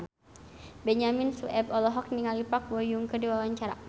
Benyamin Sueb olohok ningali Park Bo Yung keur diwawancara